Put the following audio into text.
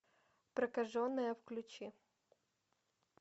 прокаженная включи